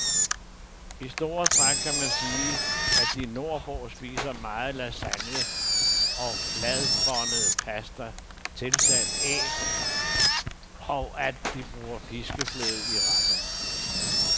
I store træk kan man sige, at de nordpå spiser meget lasagne og fladbåndet pasta tilsat æg, og at de bruger piskefløde i retterne.